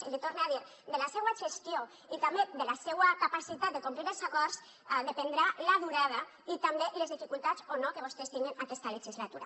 i l’hi torne a dir de la seua gestió i també de la seua capacitat de complir els acords en dependran la durada i també les dificultats o no que vostès tinguen aquesta legislatura